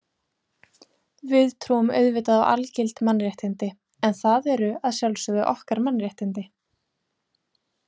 Við trúum auðvitað á algild mannréttindi, en það eru að sjálfsögðu okkar mannréttindi.